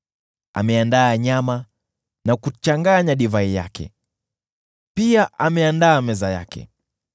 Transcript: Ameandaa nyama na kuchanganya divai yake; pia ameandaa meza yake.